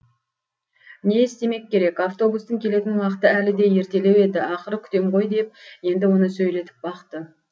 не істемек керек автобустың келетін уақыты әлі де ертелеу еді ақыры күтем ғой деп енді оны сөйлетіп бақты